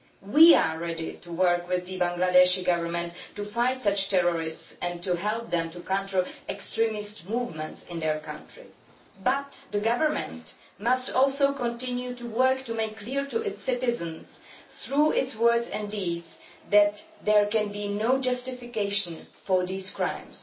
We are ready to work with the Bangladeshi Government to fight such terrorists and to help them to counter extremist movements in their country, but the government must also continue to work to make clear to its citizens, through its words and deeds, that there can be no justification for these crimes.